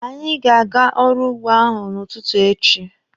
Anyị ga-aga ọrụ úgbō ahụ n'ụtụtụ echi.